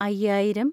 അയ്യായിരം